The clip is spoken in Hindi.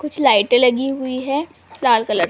कुछ लाइटे लगी हुई है लाल कलर --